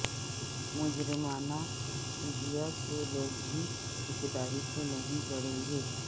مجرمانہ شبیہ کے لوگ بھی ٹھیکیداری سے نہیں جڑیں گے